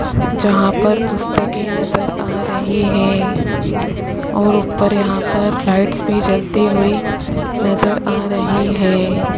जहां पर पुस्तके नज़र आ रही हैं और ऊपर यहां पर लाइट्स भी जलती हुई नजर आ रही है।